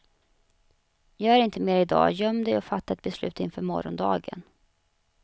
Gör inte mer idag, göm dig och fatta ett beslut inför morgondagen.